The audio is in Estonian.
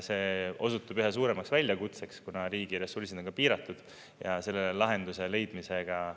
See osutub üha suuremaks väljakutseks, kuna riigi ressursid on piiratud ja sellele lahenduse leidmisega …